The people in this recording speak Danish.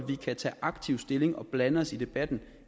vi kan tage aktivt stilling og blande os i debatten